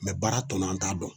baara tɔnnɔ an t'a dɔn